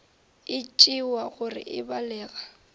e tšewa gore e balega